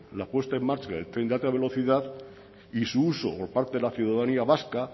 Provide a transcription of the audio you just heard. la puesta en marcha del tren de alta velocidad y su uso por parte de la ciudadanía vasca